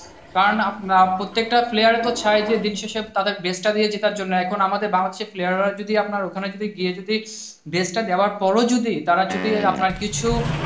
কারণ আপনার প্রত্যেকটা player তো চাই যে তাদের best টা দিয়ে জেতার জন্য। এখন আমাদের ভারতের player হচ্ছে যে আপনার ওখানে গিয়ে যদি best টা দেওয়ার পরও যদি তারা যদি মাথা পিছু,